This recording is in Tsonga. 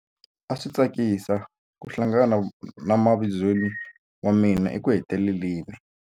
A swi tsakisa ku hlangana na mavizweni wa mina ekuheteleleni.